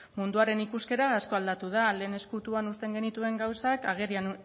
munduaren ikuskera asko aldatu da lehen ezkutuan uzten genituen gauzak agerian